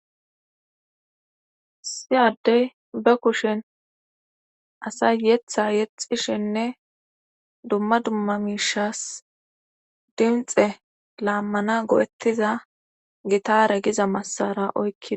Issi yaddey ba kushen asa yetha yexishenne dumma dumma miishas dimxe laammana go7ettiza gitaare giza massara oykkida